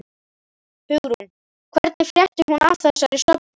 Hugrún: Hvernig frétti hún af þessari söfnun?